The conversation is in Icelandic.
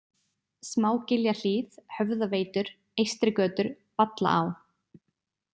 Smágiljahlíð, Höfðaveitur, Eystrigötur, Vallaá